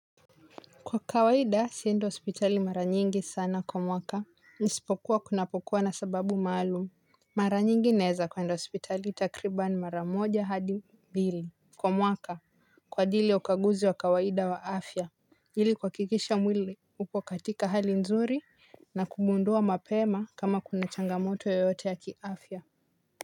Kwa kawaida siendi hospitali mara nyingi sana kwa mwaka. Nisipokuwa kunapokuwa na sababu maalumu. Mara nyingi naeza kwenda hospitali takribani mara moja hadi mbili kwa mwaka kwa jili ya ukaguzi wa kawaida wa afya ili kuhakikisha mwili upokatika hali nzuri. Na kumundua mapema kama kuna changamoto yoyote ya kiafya.